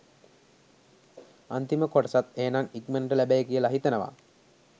අන්තිම කොටසත් එහෙනම් ඉක්මනට ලැබෙයි කියලා හිතනවා.